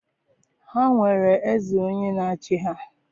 Ha nwere eze onye na-achị ha.